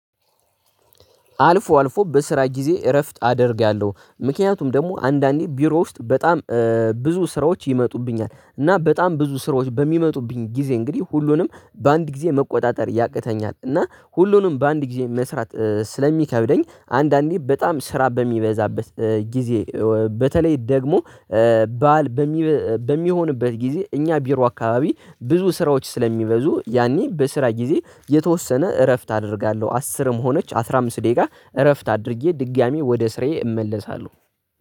አልፎ አልፎ በስራ ጊዜ እረፍት አደርጋለሁ ምክንያቱም ደግሞ አንዳንዴ ቢሮ ውስጥ በጣም ስራዎች ይመጡብኛል። እና በጣም ብዙ ስራዎች በሚመጡብኝ ጊዜ እንግዲህ ሁሉንም በአንድ ጊዜ መቆጣጠር ያቅተኛል። እና ሁሉንም በአንድ ጊዜ መስራት ስለሚከብደኝ አንዳንዴ በጣም ስራ በሚበዛበት ጊዜ በተለይ ደግሞ ባዓል በሚሆንበት ጊዜ እኛ ቢሮ አካባቢ ብዙ ስራዎች ስለሚበዙ ያኔ በስራ ጊዜ የተወሰነ እረፍት አደርጋለሁ። አስርም ሆነች አስራ አምስት ደቂቃ እረፍት አድርጌ ድጋሚ ወደ ስራዬ እመለሳለሁ